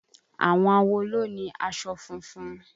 Àwọn awo ló ni aṣọ funfun.